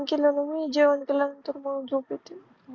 केल ना मी जेवण केल्या नंतर मला झोप येते.